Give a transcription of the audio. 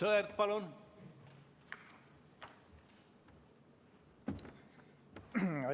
Aivar Sõerd, palun!